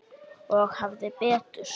Og hafði betur.